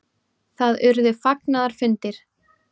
Það urðu fagnaðarfundir.